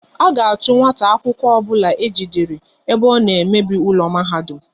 A ga-achu nwata akwụkwọ obula ejidere ebe ọ na emebi ụlọ mahadum!